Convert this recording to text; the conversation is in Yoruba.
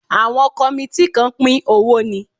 Àwọn kọmití kàn pín owó ni